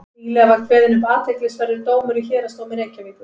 nýlega var kveðinn upp athyglisverður dómur í héraðsdómi reykjavíkur